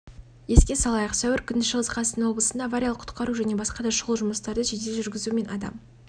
еске салайық сәуір күні шығыс-қазақстан облысында авариялық-құтқару және басқа да шұғыл жұмыстарды жедел жүргізу мен адам